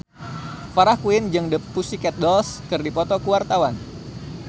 Farah Quinn jeung The Pussycat Dolls keur dipoto ku wartawan